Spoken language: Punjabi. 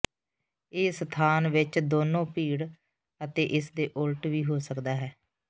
ਇਹ ਸਥਾਨ ਵਿੱਚ ਦੋਨੋ ਭੀੜ ਅਤੇ ਇਸ ਦੇ ਉਲਟ ਵੀ ਹੋ ਸਕਦਾ ਹੈ